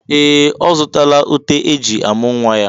Ee! Ọ zụtala uté e ji amụ̀ nwa ya.